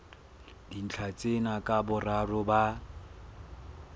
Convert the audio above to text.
dintlha tsena ka boraro ba